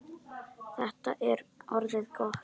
Þetta er orðið gott.